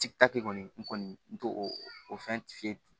kɔni n kɔni n t'o o fɛn